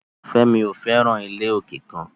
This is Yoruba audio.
Femi ko fẹran ile oke kan